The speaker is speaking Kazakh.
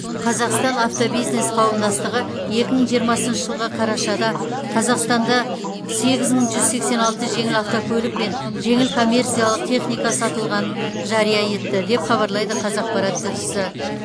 қазақстан автобизнес қауымдастығы екі мың жиырмасыншы жылғы қарашада қазақстанда сегіз мың жүз сексен алты жеңіл автокөлік пен жеңіл коммерциялық техника сатылғанын жария етті деп хабарлайды қазақпарат тілшісі